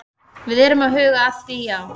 Við erum að huga að því, já.